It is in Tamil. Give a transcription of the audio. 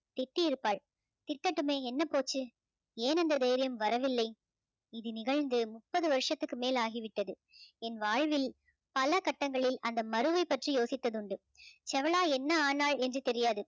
திட்டியிருப்பாள் திட்டட்டுமே என்ன போச்சு ஏன் இந்த தைரியம் வரவில்லை இது நிகழ்ந்து முப்பது வருஷத்துக்கு மேல் ஆகிவிட்டது என் வாழ்வில் பல கட்டங்களில் அந்த மருவை பற்றி யோசித்ததுண்டு செவளா என்ன ஆனால் என்று தெரியாது